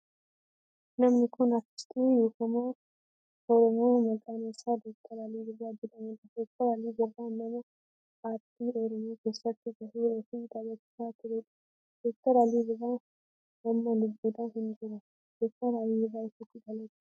Namni kun aartistii beekamaa oromoo maqaan isaa Dr. Alii Birrra jedhamudha. Dr. Alii Birraa nama aartii oromoo keessatti gahee ofii taphachaa turedha. Dr. Alii Birraa amma lubbuudhan hin jiru. Dr. Alii Birraa eessatti dhalate?